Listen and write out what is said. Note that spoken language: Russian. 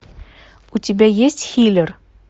у тебя есть хилер